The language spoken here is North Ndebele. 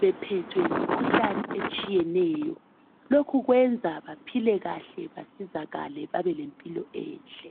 beohethwe yimkhuhlane etshiyeneyo lokhu kwenza baphile kahle basizakale babe lempilo enhle.